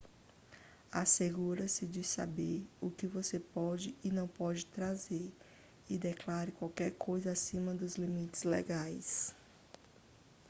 assegure-se de saber o que você pode e não pode trazer e declare qualquer coisa acima dos limites legais